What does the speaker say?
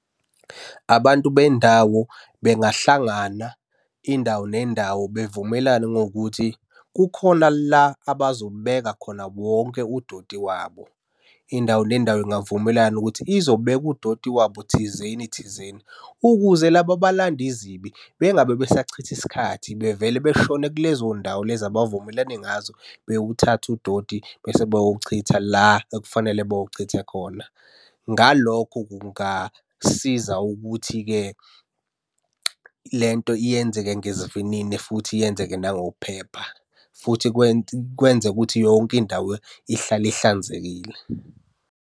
Abantu bendawo bengahlangana indawo nendawo bevumelana ngokuthi kukhona la abazobeka khona wonke udoti wabo. Indawo nendawo ingavumelana ukuthi izobeka udoti wabo thizeni thizeni, ukuze laba abalanda izibi, bengabe besachitha isikhathi, bevele beshone kulezo ndawo lezi abavumelane ngazo bewuthathe udoti bese beyowuchitha la ekufanele bewuchithe khona. Ngalokho kungasiza ukuthi-ke le nto iyenzeke ngesivinini futhi yenzeke nangokuphepha, futhi kwenze ukuthi yonke indawo ihlale ihlanzekile.